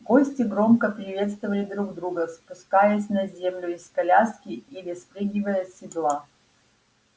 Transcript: гости громко приветствовали друг друга спускаясь на землю из коляски или спрыгивая с седла